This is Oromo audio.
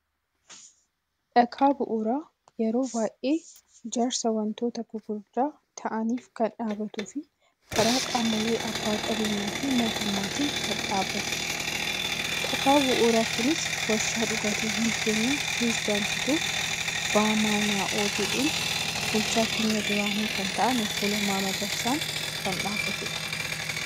Dhakaa bu'uuraa yeroo baay'ee ijaarsa wantoota gurgudda ta'aniif kan dhabbatu fi karaa qaamoolee abba qabeenyaa fi mootummatiin kan dhabbatudha. Dhakaan bu'uura kunis warshaa dhugaatiiwwaan keenyqa piteezidaantui BMNO jedhun bulchaa keenya duraani kan ta'an obboo Lammaa Magarsaan kan dhabbatedha.